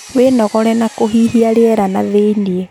Wĩnogore na kũhihia rĩera nathĩiniĩ